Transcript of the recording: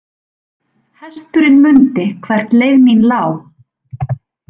Hesturinn mundi hvert leið mín lá.